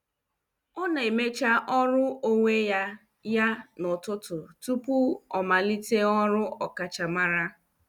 Ọ na-emecha ọrụ onwe ya ya n'ụtụtụ tupu ọ malite ọrụ ọkachamara.